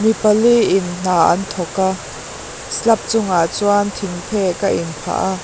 mi pali in hna an thawk a slab chungah chuan thing phek a inphah a.